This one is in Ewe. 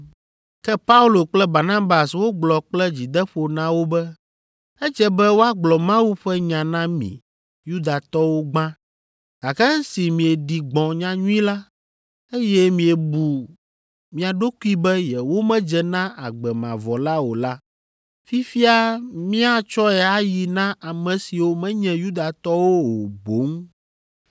Ke Paulo kple Barnabas wogblɔ kple dzideƒo na wo be, “Edze be woagblɔ Mawu ƒe nya na mi Yudatɔwo gbã, gake esi mieɖi gbɔ̃ nyanyui la, eye miebu mia ɖokui be yewomedze na agbe mavɔ la o la, fifia míatsɔe ayi na ame siwo menye Yudatɔwo o boŋ.